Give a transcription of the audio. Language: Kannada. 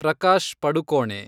ಪ್ರಕಾಶ್ ಪಡುಕೋಣೆ